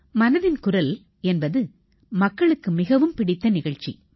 மனதின் குரல் என்பது மக்களுக்கு மிகவும் பிடித்த நிகழ்ச்சி